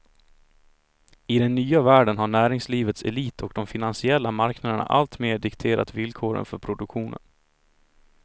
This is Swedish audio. I den nya världen har näringslivets elit och de finansiella marknaderna alltmer dikterat villkoren för produktionen.